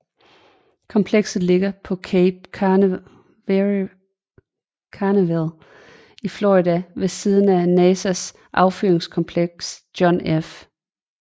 Komplekset ligger på Cape Canaveral i Florida ved siden af NASAs affyringskompleks John F